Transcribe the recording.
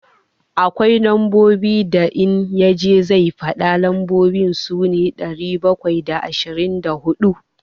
Akwai lambobin da in ya je zai faɗa, lambobin su ne, ɗari bakwai da ashirin da huɗu.